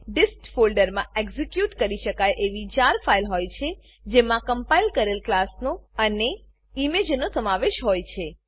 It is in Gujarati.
ડિસ્ટ ડિસ્ટ ફોલ્ડરમાં એક્ઝીક્યુટ કરી શકાય એવી જાર જાર ફાઈલ હોય છે જેમાં કમ્પાઈલ કરેલ ક્લાસનો અને ઈમેજનો સમાવેશ હોય છે